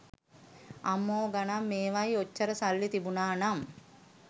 අම්මෝ ගනන් මේවයි ඔච්චර සල්ලි තිබුනානම්